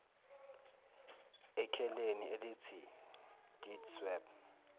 ekheleni elithi deedsweb